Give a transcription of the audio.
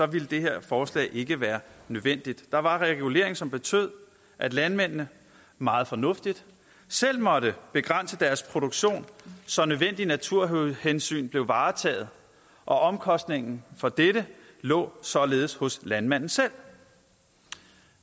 ville det her forslag ikke være nødvendigt der var regulering som betød at landmændene meget fornuftigt selv måtte begrænse deres produktion så nødvendige naturhensyn blev varetaget og omkostningen for dette lå således hos landmanden selv